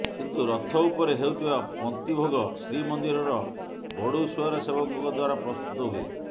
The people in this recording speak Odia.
କିନ୍ତୁ ରଥ ଉପରେ ହେଉଥିବା ପନ୍ତିଭୋଗ ଶ୍ରୀମନ୍ଦିରର ବଡ଼ୁସୁଆର ସେବକଙ୍କ ଦ୍ୱାରା ପ୍ରସ୍ତୁତ ହୁଏ